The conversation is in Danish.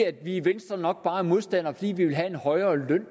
at vi i venstre nok bare er modstandere fordi vi vil have en højere løn